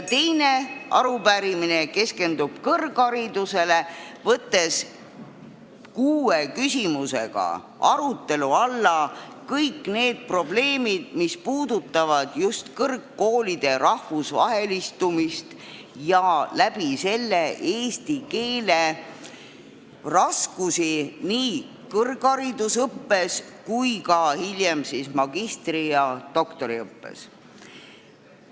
Teine arupärimine keskendub kõrgharidusele: kuue küsimusega võetakse arutelu alla kõik need probleemid, mis puudutavad kõrgkoolide rahvusvahelistumist, sh eesti keelega seotud raskusi nii kõrgharidusõppes kui ka hiljem magistri- ja doktoriõppes.